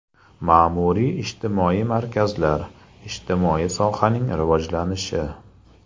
Ma’muriy-ijtimoiy markazlar, ijtimoiy sohaning rivojlanishi.